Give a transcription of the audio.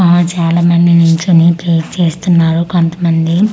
ఆ చాలామంది నించొని ప్రేయర్ చేస్తున్నారు కొంతమంది--